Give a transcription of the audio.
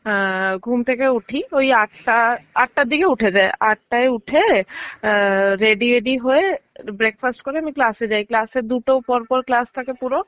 আহ ঘুম থেকে উঠি ওই আঠটা. আঠটার দিকে ঘুম থেকে উঠে যাই. আঠটায় উঠে আ ready ফেডি হয়ে একটু break fast করে আমি class এ যাই. class এর দুটো পরপর class থেকে পুরো.